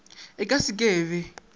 e ka se ke be